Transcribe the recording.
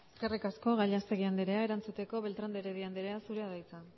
eskerrik asko gallastegui andrea erantzuteko beltrán de heredia andrea zurea da hitza